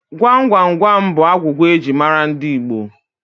Gwam Gwam Gwam bụ agwụgwa eji mara ndị Igbo